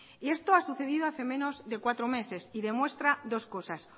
y eso ha sucedido hace menos de cuatro meses y demuestra dos cosas